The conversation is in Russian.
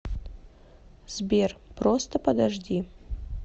сбер просто подожди